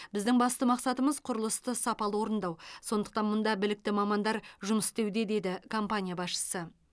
біздің басты мақсатымыз құрылысты сапалы орындау сондықтан мұнда білікті мамандар жұмыс істеуде деді компания басшысы